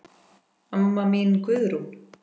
Amma mín Guðrún.